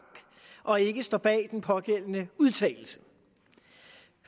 og ikke står bag den pågældende udtalelse